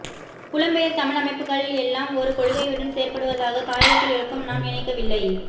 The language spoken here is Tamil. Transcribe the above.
புலம் பெயர் தமிழ் அமைப்புக்கள் எல்லாம் ஒரு கொள்கையுடன் செயற்படுவதாக தாயகத்தில் இருக்கும் நாம் நினைக்கவில்லை